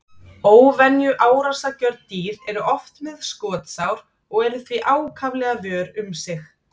Óvenju árásargjörn dýr eru oft með skotsár og eru því ákaflega vör um sig.